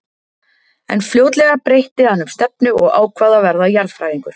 En fljótlega breytti hann um stefnu og ákvað að verða jarðfræðingur.